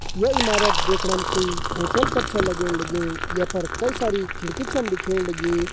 ये इमारत देखणम कोई होटल कर छ लगण लग्युं ये पर कई सारी खिड़की छन दिखेण लगीं।